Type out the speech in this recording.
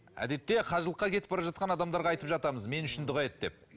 әдетте қажылыққа кетіп бара жатқан адамдарға айтып жатамыз мен үшін дұға ет деп